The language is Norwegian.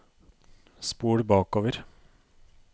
spol bakover